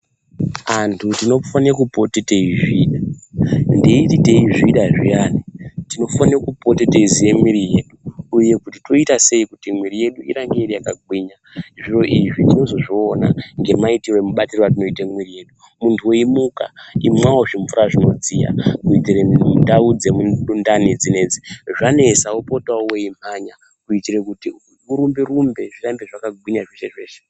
Antu tinofane kupote teizvida, ndeiti teizvida zviyani tinofane kupota teiziye mwiri yedu uye kuti toitasei kuti mwiri yedu irambe iri yakagwinya zviro izvi tinozozviona ngemaitiro nemubatiro watinoita mwiri wedu. Muntu weimuka imwawo zvimvura zvinodziya kuitire ndau dzemundani dzinedzi zvanesa wopota weimhanya kuitire kuti urumbe rumbe zvirambe zvakagwinya zveshe zveshe.